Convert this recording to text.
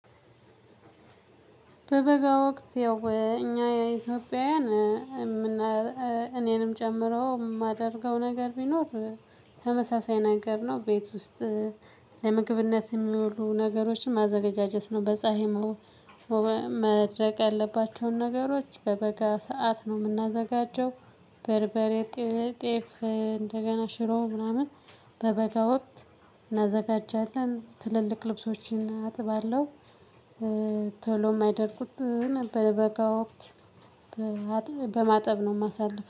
በበጋ ወቅት ያው እኛ ኢትዮጵያውያን እኔንም ጨምሮ የማደርገው ነገር ቢኖር። ተመሳሳይ ነገር ነው ቤት ውስጥ ለምግብነት የሚያውሉ ነገሮችን ማዘጋጀት ነው። በፀሀይ መድረቅ ያለባቸውን ነገሮች በበጋ ሰዓት ነው የምናዘጋጀው። በርበሬ ጤፍ እንደገና ሽሮ ምናምን በበጋ ወቅት እናዘጋጃለን። ትልልቅ ልብሶችን አጥባለሁ። ቶሎም የማይደርቁት በበጋ ወቅት በማጠብ ነው የማሳልፍም